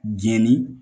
Jɛni